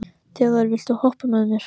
Þjóðar, viltu hoppa með mér?